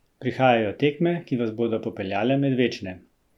Prihajajo tekme, ki vas bodo popeljale med večne!